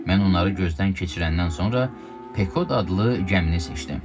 Mən onları gözdən keçirəndən sonra Pekod adlı gəmini seçdim.